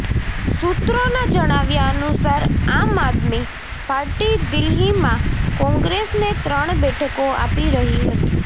સૂત્રોના જણાવ્યા અનુસાર આમ આદમી પાર્ટી દિલ્હીમાં કોંગ્રેસને ત્રણ બેઠકો આપી રહી હતી